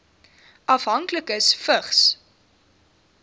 afhanklikes vigs